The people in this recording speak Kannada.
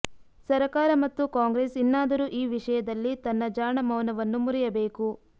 ಸರಕಾರ ಮತ್ತು ಕಾಂಗ್ರೆಸ್ ಇನ್ನಾದರೂ ಈ ವಿಷಯದಲ್ಲಿ ತನ್ನ ಜಾಣ ಮೌನವನ್ನು ಮುರಿಯಬೇಕು